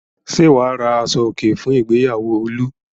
Ṣé wà á ra aṣọòkè fún ìgbéyàwó Olú?